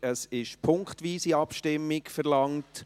Es wurde punktweise Abstimmung verlangt.